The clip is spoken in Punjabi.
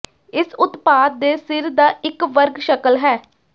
ਇਸ ਉਤਪਾਦ ਦੇ ਸਿਰ ਦਾ ਇੱਕ ਵਰਗ ਸ਼ਕਲ ਹੈ